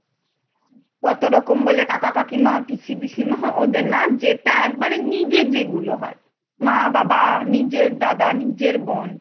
ততরকম বলে কাকা কাকিমা, পিসি পিসিমা, ওদের না যেটা একবারে নিজে যেগুলো হয় মা, বাবা, নিজের দাদা, নিজের বোন।